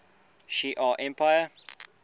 shi ar empire